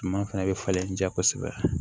Suma fɛnɛ bɛ falen ja kosɛbɛ